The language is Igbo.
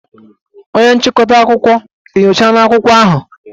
Onye nchịkọta akụkọ enyochala akwụkwọ ahụ?